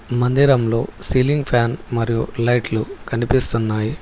మందిరంలో ceiling fan మరియు లైట్లు కనిపిస్తున్నాయి.